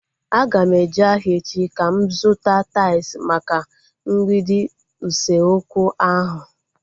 Aga m eje ahịa echi ka m zụta tais maka mgbidi usekwu ahu